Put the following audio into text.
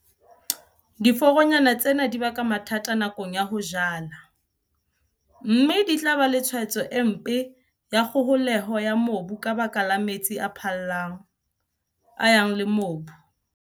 Diforonyana tsena di baka mathata nakong ya ho jala, mme di tla ba le tshwaetso e mpe ya kgoholeho ya mobu ka baka la metsi a phallang, a yang le mobu.